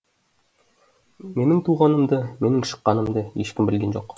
менің туғанымды менің шыққанымды ешкім білген жоқ